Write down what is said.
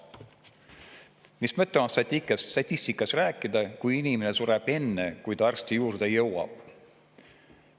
Mis mõte on statistikast rääkida, kui inimene sureb enne, kui ta arsti juurde jõuab?